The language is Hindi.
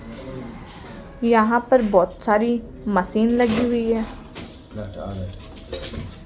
यहां पर बहोत सारी मशीन लगी हुई है।